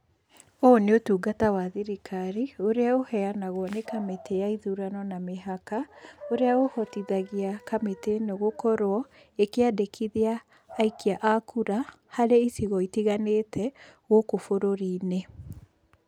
Ũyũ nĩ ũtungata wa thirikari, ũrĩa ũheanagwo nĩ kamĩtĩ ya ithurano na mĩhaka , ũrĩa ũhotithagia kamĩtĩ ĩno gũkorwo ĩkĩandĩkithia aikia a kura harĩ icigo itiganĩte gũkũ bũrũri-inĩ .